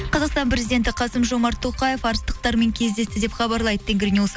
қазақстан президенті қасым жомарт тоқаев арыстықтармен кездесті деп хабарлайды тенгринюс